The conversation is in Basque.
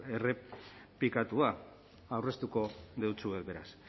errepikatua aurreztuko dotsuet beraz